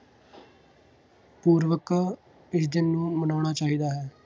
ਪੂਰਵਕ ਇਸ ਦਿਨ ਨੂੰ ਮਨਾਉਣਾ ਚਾਹੀਦਾ ਹੈ।